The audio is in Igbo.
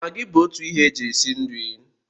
Magi bụ otu ihe e ji esi nri